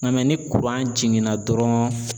Nka ni jiginna dɔrɔn